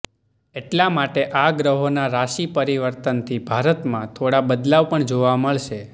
એટલાં માટે આ ગ્રહોના રાશિ પરિવર્તનથી ભારતમાં થોડાં બદલાવ પણ જોવા મળશે